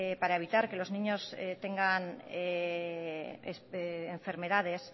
para evitar que los niños tengan enfermedades